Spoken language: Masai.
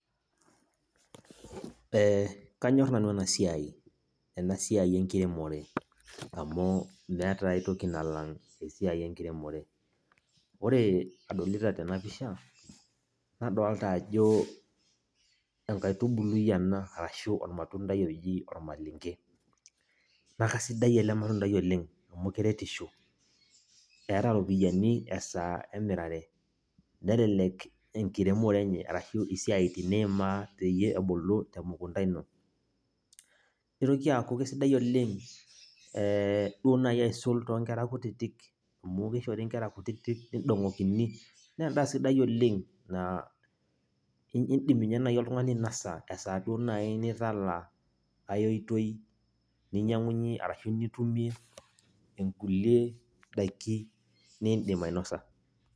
Eh kanyor nanu enasiai, enasiai enkiremore. Amu, meeta ai toki nalang' esiai enkiremore. Ore adolita tenapisha, nadolta ajo enkaitubului ena, arashu ormatuntai oji ormalenke. Nakasidai ele matundai oleng, amu keretisho. Eeta ropiyaiani esaa emirare, nelelek enkiremore enye, arashu isiaitin nimaa peyie ebulu emukunda ino. Nitoki aku kesidai oleng duo nai aisul tonkera kutitik, amu kishori nkera kutitik nidong'okini, nendaa sidai oleng, idim inye nai oltung'ani ainasa esaa duo nai nitala ai oitoi ninyang'unye arashu nitumie inkulie daiki, niidim ainosa.